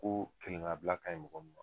Ko kelennabila ka ɲi mɔgɔ ma